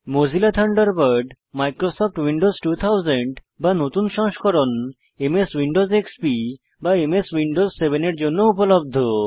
Mozilla Thunderbird Microsoft Windows 2000 বা নতুন সংস্করণ এমএস উইন্ডোজ এক্সপি বা এমএস উইন্ডোজ 7 এর জন্যও উপলব্ধ